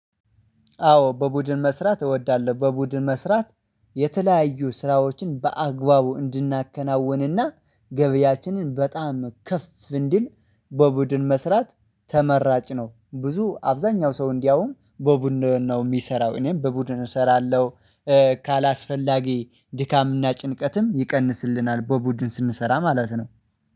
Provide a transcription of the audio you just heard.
አዎ በቡድን መስራት እወዳለሁ በቡድን መስራት የተለያዩ ስራዎችን በአግባቡ እንድናከናውንና ገበያችንን በጣም ከፍ እንዲል በቡድን መስራት ተመራጭ ነው። ብዙ አብዛኛው ሰው እንዲያውም በቡድን ነው የሚሰራው እኔም በቡድን እሰራለሁ። ካላስፈላጊ ድካምና ጭንቀትም ይቀንስልናል በቡድን ስንሰራ ማለት ነው